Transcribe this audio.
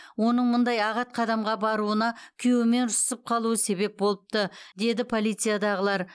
оның мұндай ағат қадамға баруына күйеуімен ұрсысып қалуы себеп болыпты деді полициядағылар